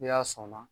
N'i y'a sɔnna